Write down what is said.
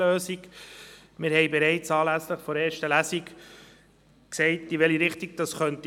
Wir haben bereits anlässlich der ersten Lesung gesagt, in welche Richtung es gehen könnte.